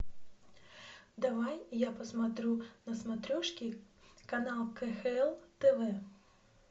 давай я посмотрю на смотрешке канал кхл тв